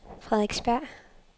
Frederiksberg